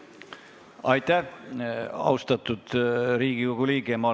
Austatud Riigikogu liige!